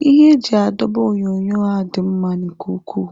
Ihe eji adọba onyonyo a dị mma nke ukwuu.